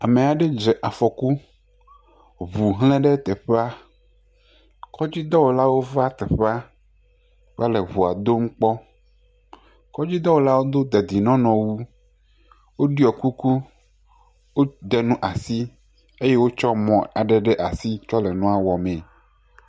Amea ɖe dze afɔ ku. Ŋu hle ɖe teƒea. Kɔdzidɔwɔlawo va teƒea va le ŋua dom kpɔm. Kɔdzidɔwɔlawo do dedienɔnɔwu woɖiɔ kuku wode nu asu eye wotsɔ mɔ aɖe ɖe asi tsɔ le nua wɔ mee.